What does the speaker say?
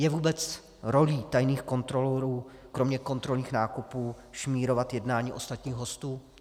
Je vůbec rolí tajných kontrolorů kromě kontrolních nákupů šmírovat jednání ostatních hostů?